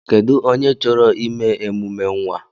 Kedụ onye chọrọ ime emume nwa?